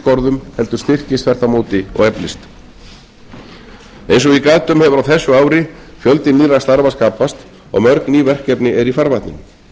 skorðum heldur styrkist þvert á móti og eflist eins og ég gat um hefur á þessu ári fjöldi nýrra starfa skapast og mörg ný verkefni eru í farvatninu